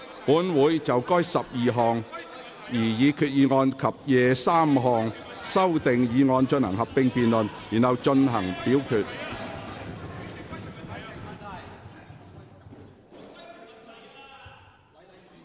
本會會就該12項擬議決議案及23項修訂議案進行合併辯論，然後進行表決。